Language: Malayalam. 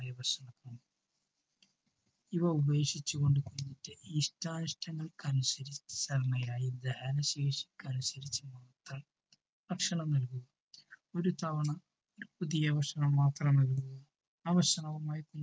ഇവ ഉപേക്ഷിച്ചു കൊണ്ട് ഇഷ്ടാനിഷ്ടങ്ങൾക്കനുസരിച്ചായി ദഹനശേഷിക്കനുസരിച്ചുള്ള ഭക്ഷണം നൽകൂ. ഒരു തവണ പുതിയ ഭക്ഷണം മാത്രം മതി. ആ ഭക്ഷണവുമായി